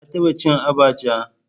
Ka taba cin abacha?